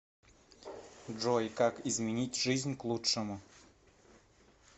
джой как изменить жизнь к лучшему